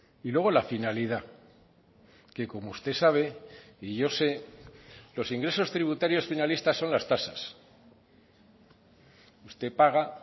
y luego la finalidad que como usted sabe y yo sé los ingresos tributarios finalistas son las tasas usted paga